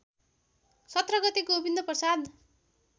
१७ गते गोविन्दप्रसाद